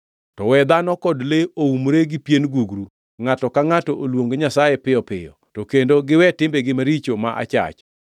To we dhano kod le oumre gi pien gugru, ngʼato ka ngʼato oluong Nyasaye piyo piyo, to kendo giwe timbegi maricho ma achach.